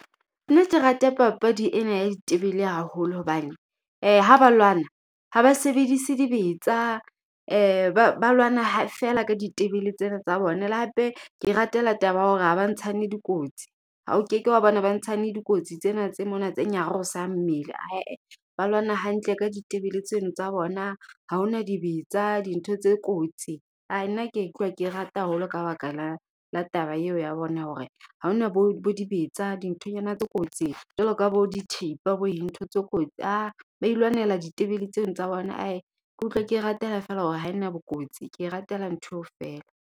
Nna ke rata papadi ena ya ditebele haholo hobane, ha ba lwana ha ba sebedise dibetsa ba ba lwana ha feela ka ditebele tsena tsa bona. Le hape ke ratela taba ya hore ha ba ntshane dikotsi. Ha o keke wa bona ba ntshane dikotsi tsena tse mona tse nyarosang mmele he-eh. Ba lwana hantle ka ditebele tseno tsa bona. Ha ho na dibetsa dintho tse kotsi, hai nna ke utlwa ke rata haholo ka baka la la taba eo ya bona. Ya hore ha ho na bo bo dibetsa dinthonyana tse kotsi jwalo ka bo dithipa bo eng ntho tse kotsi . Ba ilwanela ditebele tseno tsa bona ke utlwa ke e ratela feela hore ha ena bokotsi, ke e ratela ntho eo feela.